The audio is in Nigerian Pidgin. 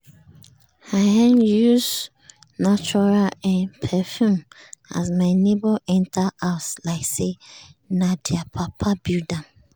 i um use um neutral um perfume as my neighbour enter house like say na their papa build am.